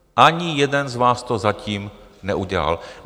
Ani jeden z vás to zatím neudělal.